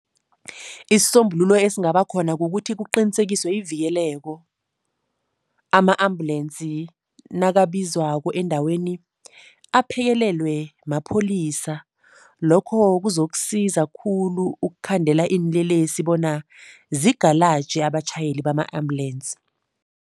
Isisombululo esingabakhona kukuthi kuqinisekiswe ivikeleko. Ama-ambulensi nakabizwako endaweni, aphekelelwe mapholisa. Lokho kuzokusiza khulu ukukhandela iinlelesi bona zigalaje abatjhayeli bama-ambulensi.